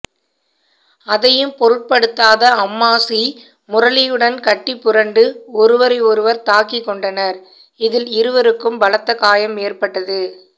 அதையும் பொருட்படுத்தாத அம்மாசி முரளியுடன் கட்டிப்புரண்டு ஒருவரை ஒருவர் தாக்கிக் கொண்டனர் இதில் இருவருக்கும் பலத்த காயம் ஏற்பட்டது